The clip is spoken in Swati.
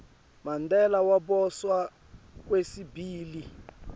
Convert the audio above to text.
mandela waboshwa kwesibili